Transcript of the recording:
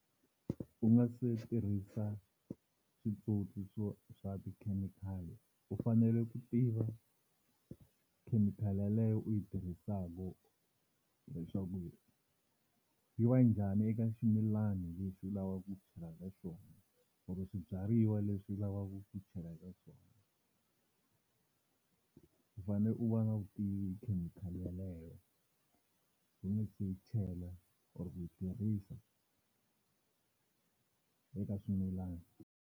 U nga se tirhisa switsotswi swo swa tikhemikhali u fanele ku tiva khemikhali yaleyo u yi tirhisaku leswaku yi va njhani eka ximilana lexi u lavaka ku chelaka xona or swibyariwa leswi u lavaka ku chela eka swona. U fanele u va na vutivi hi khemikhali yaleyo u nga se yi chela or ku yi tirhisa eka swimilani.